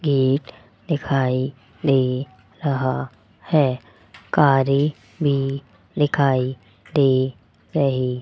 gate दिखाई दे रहा है कारे भी दिखाई दे रही --